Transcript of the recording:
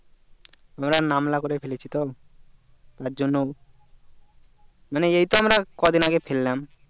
আমরা নামলা করে ফেলেছি তো তার জন্য মানে এইটা আমরা কদিন আগে ফেললাম